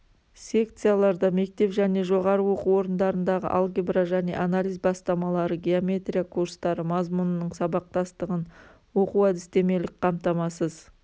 секцияларда мектеп және жоғары оқу орындарындағы алгебра және анализ бастамалары геометрия курстары мазмұнының сабақтастығын оқу-әдістемелік қамтамасыз